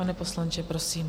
Pane poslanče, prosím.